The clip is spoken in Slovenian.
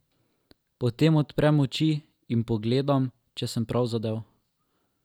Potem odprem oči in pogledam, če sem prav zadel.